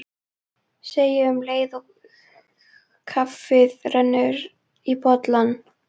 Innangengt er úr herbergi forseta til Kornelíusar Sigmundssonar forsetaritara.